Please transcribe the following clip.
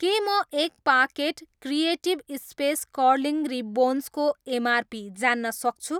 के म एक packet creative space curling ribbons को एमआरपी जान्न सक्छु?